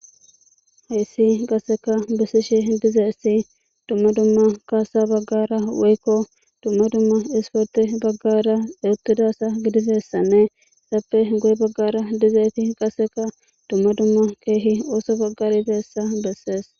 Hayssi qasseka bessishe dizeessi dumma dumma kaasa baggara woykko dumma dumma isporti baggara ewuttidasa gidizeessanne sappe goye baggara dizeessi qasseka dumma dumma keehi ooso baggar iteessa bessees.